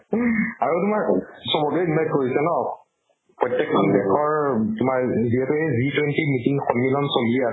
আৰু তোমাৰ চবকে invite কৰিছে ন। প্ৰত্য়েক খন দেশৰ তোমাৰ যিহেতু হেই G20 meeting সন্মিলন চলি আছে